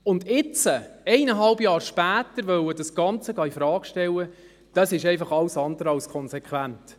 Und jetzt, eineinhalb Jahre später das Ganze infrage stellen wollen, das ist einfach alles andere als konsequent.